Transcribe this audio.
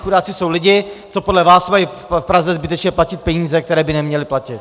Chudáci jsou lidi, co podle vás mají v Praze zbytečně platit peníze, které by neměli platit.